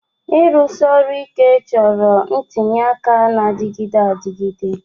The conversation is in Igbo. Ịrụsi ọrụ ike chọrọ ntinye aka na-adịgide adịgide